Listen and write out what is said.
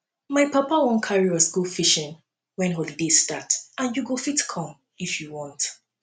my papa wan carry us go fishing wen holiday start and you go fit come if you want